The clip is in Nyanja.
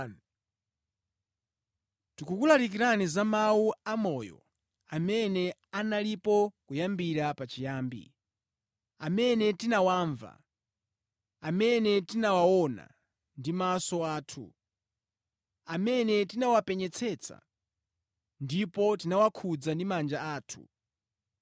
Tikukulalikirani za Mawu a moyo amene analipo kuyambira pachiyambi, amene tinawamva, amene tinawaona ndi maso athu, amene tinawapenyetsetsa, ndipo tinawakhudza ndi manja athu.